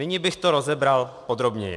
Nyní bych to rozebral podrobněji.